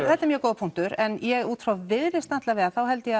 þetta er mjög góður punktur en ég út frá viðreisn allavega þá held ég